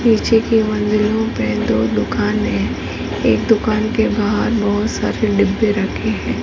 पीछे के मंदिर में दो दुकान है एक दुकान के बाहर बहुत सारे डिब्बे रखे हैं।